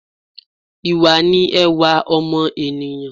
Ìwà ni ẹwà ọmọ ènìyãn